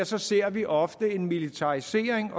så ser vi ofte en militarisering